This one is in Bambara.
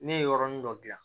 Ne ye yɔrɔnin dɔ dilan